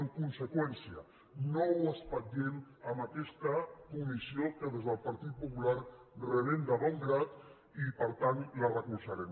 en conseqüència no ho espatllem amb aquesta comissió que des del partit popular rebem de bon grat i per tant la recolzarem